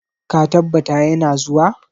Ka tabbata ya na zuwa?